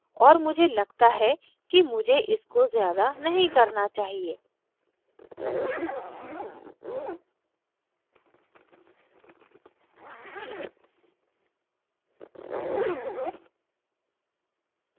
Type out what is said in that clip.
और मुझे लगता है कि मुझे इसको ज़्यादा नहीं करना चाहिए